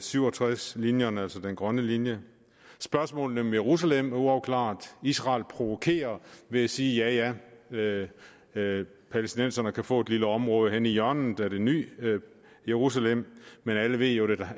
syv og tres linjerne altså den grønne linje spørgsmålene om jerusalem er uafklarede israel provokerer ved at sige ja ja ja palæstinenserne kan få et lille område henne i hjørnet af det nye jerusalem men alle ved jo